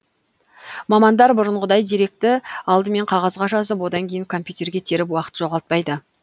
мамандар бұрынғыдай деректі алдымен қағазға жазып одан кейін компьютерге теріп уақыт жоғалтпайды